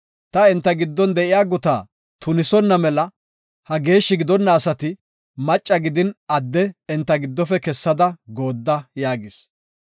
Ta enta giddon de7iya gutaa tunisonna mela ha geeshshi gidonna asati macca gidin adde enta giddofe kessada goodda” yaagis.